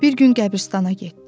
Bir gün qəbirstana getdi.